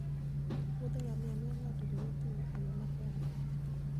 Wuodh ngamia miyo ng'ato ng'iyo thim e yo makende.